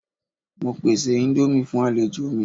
Mo pese indomie fun alejo mi